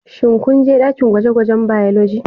Shin ku je dakin gwaje-gwajen " Biology"